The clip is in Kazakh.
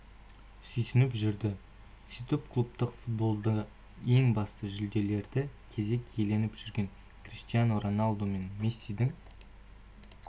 сүйсініп жүрді сөйтіп клубтық футболда ең басты жүлделерді кезек иеленіп жүрген криштиану роналду мен мессидің